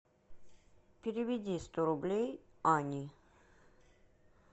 переведи сто рублей ане